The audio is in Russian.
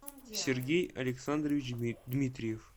сергей александрович дмитриев